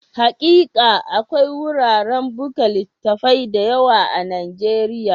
Hakika, akwai wuraren buga littattafai da yawa a Nijeriya